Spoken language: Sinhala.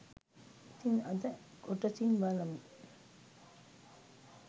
ඉතින් අද කොටසින් බලමු